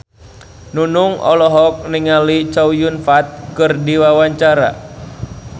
Nunung olohok ningali Chow Yun Fat keur diwawancara